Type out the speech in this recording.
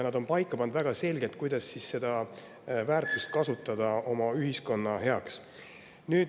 Nad on väga selgelt paika pannud, kuidas seda väärtust kasutada oma ühiskonna heaks.